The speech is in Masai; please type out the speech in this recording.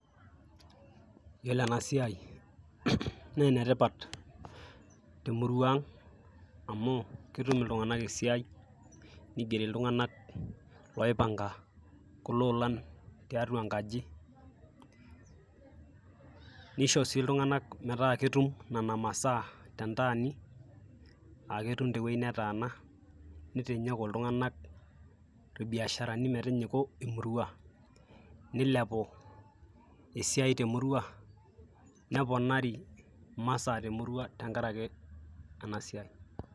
yiolo ena siai naa enetipat temurua ang amu ketum iltunganak esiai nigeri iltung'anak loipanga kulo olan tiatua enkaji nisho sii iltung'anak metaa ketum nena masaa tentaani aketum tewueji netaana nitinyiku iltung'anak irbiasharani metinyiku emurua nilepu esiai temurua neponari imasaa temurua tenkarake ena siai.